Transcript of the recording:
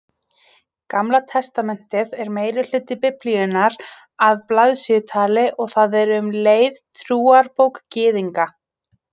Gamla testamentið er meirihluti Biblíunnar að blaðsíðutali og það er um leið trúarbók Gyðinga.